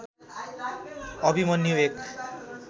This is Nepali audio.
अभिमन्यु एक